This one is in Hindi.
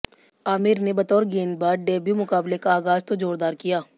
आमिर ने बतौर गेंदबाज डेब्यू मुकाबले का आगाज तो जोरदार किया